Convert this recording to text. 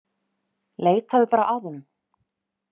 Leitaðu bara að honum.